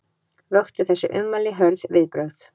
Vöktu þessi ummæli hörð viðbrögð